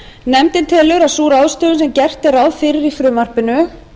nefndin telur að sú ráðstöfun sem gert er ráð fyrir í frumvarpinu